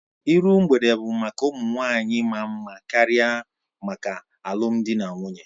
Iru mgbede bụ maka ụmụ nwanyị maa mma karịa maka alụmdi na nwunye